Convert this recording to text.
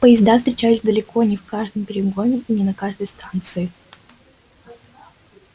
поезда встречались далеко не в каждом перегоне и не на каждой станции